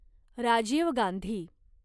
Rajiv Gandhi